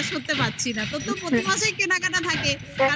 বিশ্বাস করতে পারছি না তোর তো প্রতি মাসেই কেনাকাটা থাকে